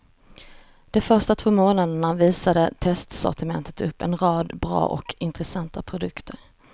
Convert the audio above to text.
De första två månaderna visade testsortimentet upp en rad bra och intressanta produkter.